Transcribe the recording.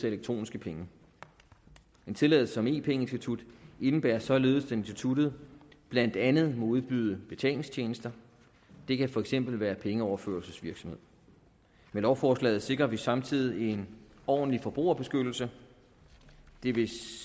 elektroniske penge en tilladelse som e penge institut indebærer således at instituttet blandt andet må udbyde betalingstjenester det kan for eksempel være pengeoverførselsvirksomhed med lovforslaget sikrer vi samtidig en ordentlig forbrugerbeskyttelse det vil